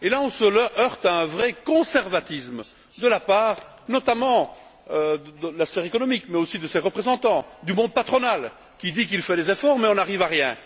On se heurte ici à un vrai conservatisme de la part, notamment, de la sphère économique mais aussi de ses représentants du monde patronal qui dit qu'il fait des efforts, mais nous n'arrivons à rien.